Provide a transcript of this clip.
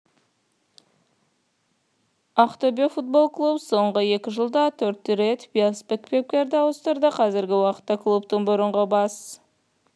ақтөбе футбол клубы соңғы екі жылда төрт рет бас бапкерді ауыстырды қазіргі уақытта клубтың бұрынғы бас